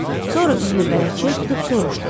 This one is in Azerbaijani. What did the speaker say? Sonra üzünü bələdçiyə tutub soruşdu: